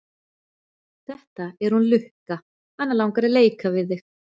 Þetta er hún Lukka, hana langar að leika við þig.